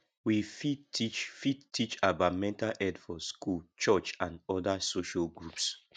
we fit teach fit teach about mental health for school church and oda social groups